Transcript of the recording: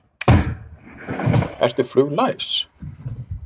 Ingimar: Ertu fluglæs?